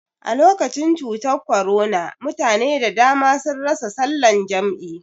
Alokacin cutar korona mutane da dama sun rasa salan jam'i